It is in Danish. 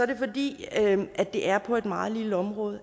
det fordi det er på et meget lille område